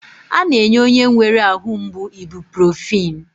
A na-enye onye nwere ahụ mgbu ibuprofin.